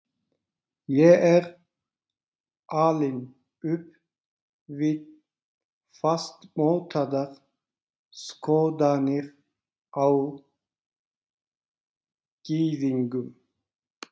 Ég er alinn upp við fastmótaðar skoðanir á gyðingum.